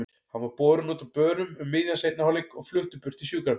Hann var borinn út á börum um miðjan seinni hálfleik og fluttur burt í sjúkrabíl.